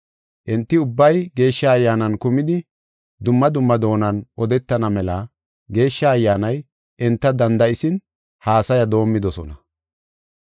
Enti ubbay Geeshsha Ayyaanan kumidi dumma dumma doonan odetana mela Geeshsha Ayyaanay enta danda7isin haasaya doomidosona.